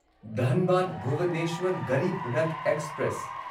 Dhanbad Bhubaneswar Garib Rath express